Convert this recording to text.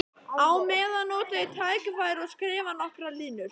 Á meðan nota ég tækifærið og skrifa nokkrar línur.